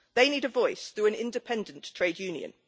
They need a voice, through an independent trade union.